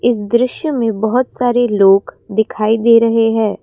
इस दृश्य में बहोत सारे लोग दिखाई दे रहे हैं।